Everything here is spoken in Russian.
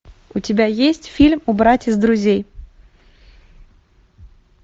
у тебя есть фильм убрать из друзей